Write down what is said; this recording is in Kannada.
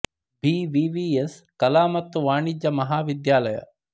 ಬಿ ವ್ಹಿ ವ್ಹಿ ಎಸ್ ಕಲಾ ಮತ್ತು ವಾಣಿಜ್ಯ ಮಹಾವಿದ್ಯಾಲಯ